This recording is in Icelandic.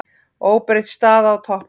Óbreytt staða á toppnum